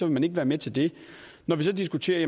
man ikke være med til det når vi så diskuterer at